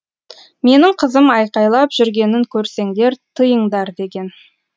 менің қызым айқалап жүргенін көрсеңдер тыйыңдар деген